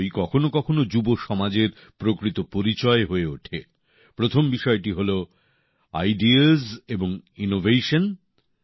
সেগুলোই কখনো কখনো যুব সমাজের প্রকৃত পরিচয় হয়ে ওঠে প্রথম বিষয়টি হলো আইডিয়াস এবং ইনোভেশন